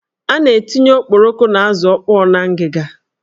A na-etinye okporoko na azụ ọkpọ n'ngiga.